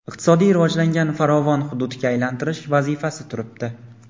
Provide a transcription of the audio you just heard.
iqtisodiy rivojlangan farovon hududga aylantirish vazifasi turibdi.